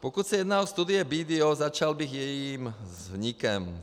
Pokud se jedná o studii BDO, začal bych jejím vznikem.